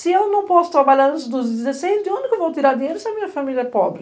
Se eu não posso trabalhar antes dos dezesseis, de onde eu vou tirar dinheiro se a minha família é pobre?